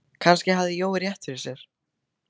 Kannski hafði Jói haft rétt fyrir sér.